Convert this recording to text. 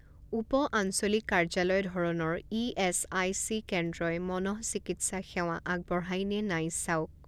উপ আঞ্চলিক কাৰ্যালয় ধৰণৰ ই এছ আই চি কেন্দ্ৰই মনঃচিকিৎসা সেৱা আগবঢ়ায় নে নাই চাওক